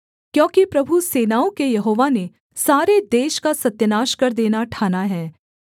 क्योंकि प्रभु सेनाओं के यहोवा ने सारे देश का सत्यानाश कर देना ठाना है